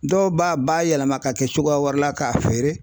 Dɔw b'a bayɛlɛma ka kɛ cogoya wɛrɛ la k'a feere